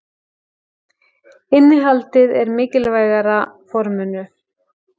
Innihaldið er mikilvægara forminu.